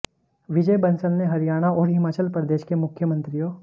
विजय बंसल ने हरियाणा और हिमाचल प्रदेश के मुख्यमन्त्रियों